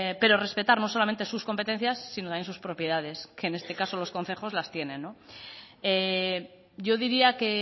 pero respetar no solamente sus competencias sino también sus propiedades que en este caso sus concejos las tienen no yo diría que